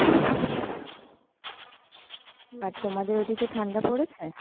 আর তোমাদের ওই দিকে ঠান্ডা পড়েছে।